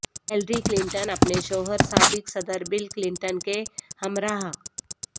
Hillary Clinton اپنے شوہر سابق صدر بل کلنٹن کے ہمراہ